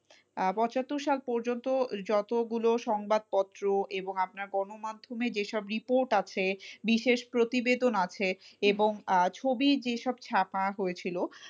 আহ পঁচাত্তর সাল পর্যন্ত যতগুলো সংবাদপত্র এবং আপনার গণমাধ্যমে যেসব report আছে বিশেষ প্রতিবেদন আছে এবং আহ ছবি যেসব ছাপা হয়েছিল,